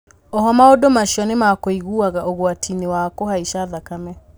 Ooho maũndũ macio nĩ makũigaga ũgwati inĩ wa kũhaica thakame